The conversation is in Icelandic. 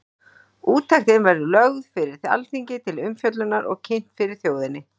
Úttektin verður lögð fyrir Alþingi til umfjöllunar og kynnt fyrir þjóðinni.